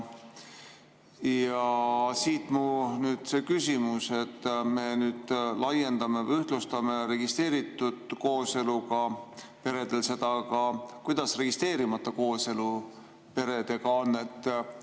Siit mu küsimus: me laiendame või ühtlustame seda registreeritud kooseluga perede puhul, aga kuidas registreerimata kooselus peredega on?